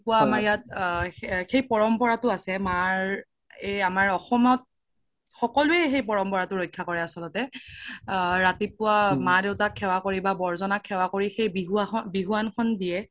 আমাৰ ইয়াত সেই পৰম্পাৰাতো আছে এই আমাৰ অসমত সকলোৱে সেই পৰম্পাৰাতো ৰক্শ্যা কৰে আচল্তে আ ৰাতিপুৱা মা দেউতাক সেৱা কৰি বা বৰজ্নাক সেৱা কৰি সেই বিহুৱান খন দিয়ে